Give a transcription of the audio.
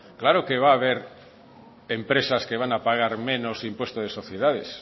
claro que va haber empresas que van pagar menos impuesto de sociedades